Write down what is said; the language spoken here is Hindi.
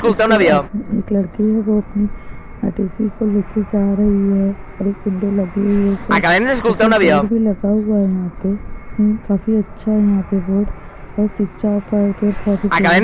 एक आदमी एक लड़की है वो अपनी अटैची को लेकर जा रही है और एक विंडो लगी हुई है एक ऊपर बोर्ड भी लगा हुआ है यहाॅं पे उम्म्म काफी अच्छा है यहाॅं पे बोर्ड और शिक्षा --